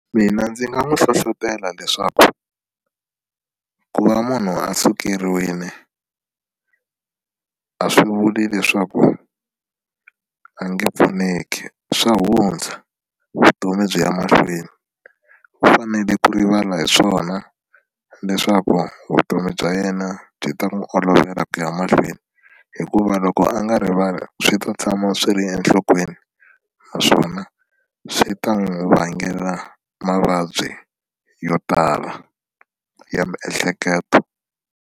Mina ndzi nga n'wi hlohlotela leswaku ku va munhu a sukeriwile a swi vuli leswaku a nge pfuneki swa hundza vutomi byi ya mahlweni u fanele ku rivala hi swona leswaku vutomi bya yena byi ta n'wi olovela ku ya mahlweni hikuva loko a nga rivali swi ta tshama swi ri enhlokweni naswona swi ta n'wi vangela mavabyi yo tala ya miehleketo.